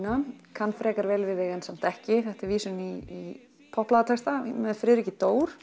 kann frekar vel við þig en samt ekki þetta er vísun í með Friðriki